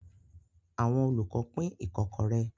Àwọn olùkọ́ pín ikokore.